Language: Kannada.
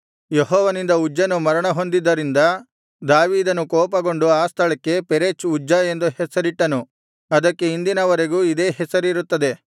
ಯೆಹೋವನಿಂದ ಉಜ್ಜನು ಮರಣ ಹೊಂದಿದ್ದರಿಂದ ದಾವೀದನು ಕೋಪಗೊಂಡು ಆ ಸ್ಥಳಕ್ಕೆ ಪೆರೆಚ್ ಉಜ್ಜ ಎಂದು ಹೆಸರಿಟ್ಟನು ಅದಕ್ಕೆ ಇಂದಿನ ವರೆಗೂ ಇದೇ ಹೆಸರಿರುತ್ತದೆ